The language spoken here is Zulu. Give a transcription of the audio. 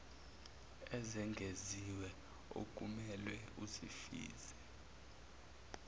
ezengeziwe okumelwe uzifeze